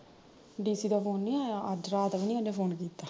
DC ਦਾ phone ਨੀ ਆਇਆ ਅੱਜ ਰਾਤ ਵੀ ਨੀ ਉਹਨੇ phone ਕੀਤਾ